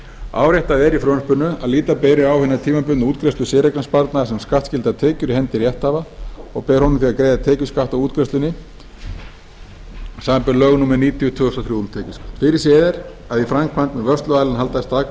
áréttað er í frumvarpinu að líta beri á hina tímabundnu útgreiðslu séreignarsparnaðar sem skattskyldar tekjur af hendi rétthafa og ber honum því að greiða tekjuskatt af útgreiðslunni samanber lög númer níutíu tvö þúsund og þrjú um tekjuskatt fyrirséð er að í framkvæmd mun vörsluaðilinn halda staðgreiðslu